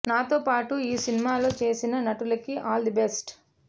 నాతో పాటు ఈ సినిమాలో చేసిన నటులకి ఆల్ ది బెస్ట్